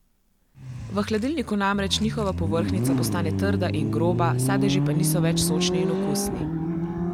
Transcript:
V hladilniku namreč njihova povrhnjica postane trda in groba, sadeži pa niso več sočni in okusni.